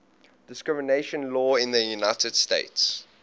discrimination law in the united states